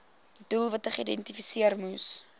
doelwitte geïdentifiseer moes